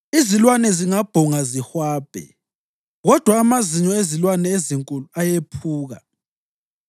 Izilwane zingabhonga zihwabhe, kodwa amazinyo ezilwane ezinkulu ayephuka.